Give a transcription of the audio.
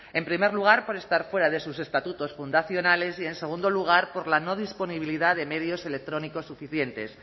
en primer lugar por estar fuera de sus estatutos fundacionales y en segundo lugar por la no disponibilidad de medios electrónicos suficientes